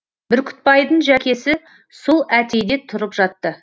бүркітбайдың жәкесі сол әтейде тұрып жатты